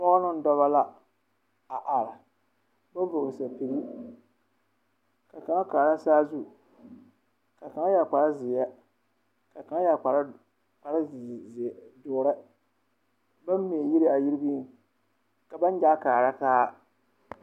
Pɔgeba neŋ dɔba la a are, baŋ vɔgele sapige, ka kaŋa kaaraa saazu. Ka kaŋayɛre kpare zeɛ, ka kaŋa yɛre d… ze… ze…ze… doore. Baŋ mɛ yiri a yiriŋ ka baŋ gyaa kaara taa.